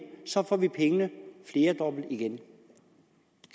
får vi pengene flerdobbelt igen